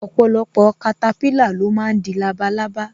Ọpọlọpọ katapila lo máa ń di labalábá